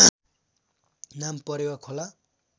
नाम परेवा खोला